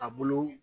A bolo